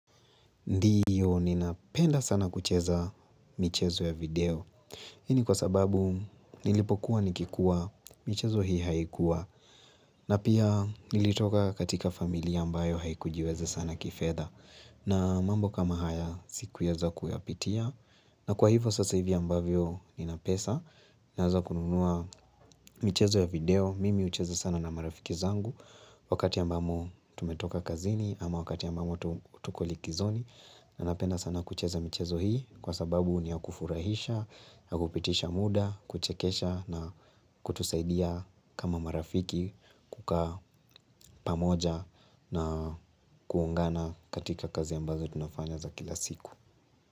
Ndiyo, ninapenda sana kucheza michezo ya video. Hii ni kwa sababu, nilipokuwa nikikuwa, michezo hii haikuwa. Na pia, nilitoka katika familia ambayo haikujiweze sana kifedha. Na mambo kama haya, sikueza kuyapitia. Na kwa hivo, sasa hivi ambavyo nina pesa. Naanza kununua michezo ya video. Mimi hucheza sana na marafiki zangu. Wakati ambamo tumetoka kazini, ama wakati ambamo tuko likizoni. Na napenda sana kucheza michezo hii kwa sababu ni ya kufurahisha, ya kupitisha muda, kuchekesha na kutusaidia kama marafiki kukaa pamoja na kuungana katika kazi ambazo tunafanya za kila siku.